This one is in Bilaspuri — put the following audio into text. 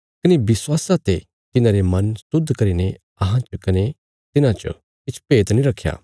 कने विश्वासा ते तिन्हांरे मन शुद्ध करीने अहां च कने तिन्हां च किछ भेद नीं रखया